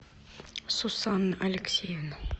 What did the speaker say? сусанна алексеевна